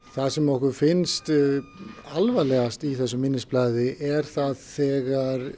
það sem okkur finnst alvarlegast í þessu minnisblaði er þegar